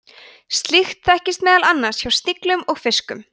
slíkt þekkist meðal annars hjá sniglum og fiskum